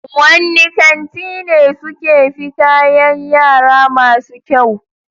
Wanne kanti ne suke fi kayan yara masu kyau?